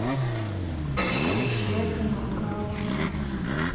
включи одинокая луна